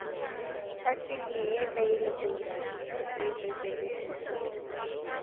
உம் first நீங்க Afive ல சொல்லுங்க Afive five ல சொல்லுங்க